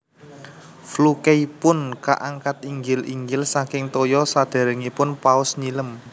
Flukeipun kaangkat inggil inggil saking toya sadéréngipun paus nyilem